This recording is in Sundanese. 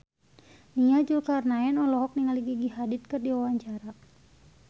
Nia Zulkarnaen olohok ningali Gigi Hadid keur diwawancara